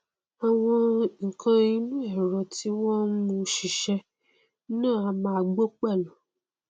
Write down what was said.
àwọn nnkan inú ẹrọ tí wọn n mú u ṣiṣẹ náà a máa gbó pẹlú